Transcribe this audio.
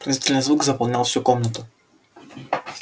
пронзительный звук заполнял всю комнату